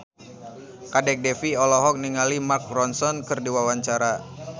Kadek Devi olohok ningali Mark Ronson keur diwawancara